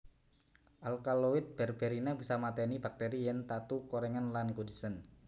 Alkaloid berberina bisa matèni bakteri yèn tatu korèngen lan kudisen